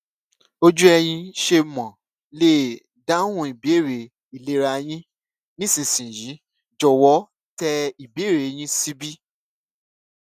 ojú ẹyin ṣé mo lè dáhùn ìbéèrè ìlera yín nísinsìnyí jòwó tẹ ìbéèrè yín síbí